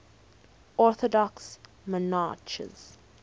orthodox monarchs